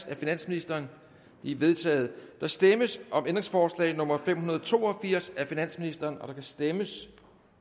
af finansministeren de er vedtaget der stemmes om ændringsforslag nummer fem hundrede og to og firs af finansministeren der kan stemmes